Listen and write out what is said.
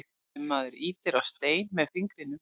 ef maður ýtir á stein með fingrinum